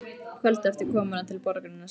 Kvöldið eftir komuna til borgarinnar sáum við